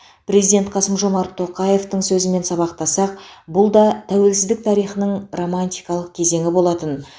президент қасым жомарт тоқаевтың сөзімен сабақтасақ бұл да тәуелсіздік тарихының романтикалық кезеңі болатын